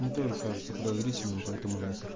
мне тоже кажется подозрительным поэтому на хер